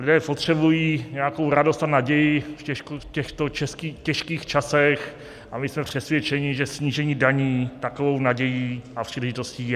Lidé potřebují nějakou radost a naději v těchto těžkých časech a my jsme přesvědčeni, že snížení daní takovou nadějí a příležitostí je.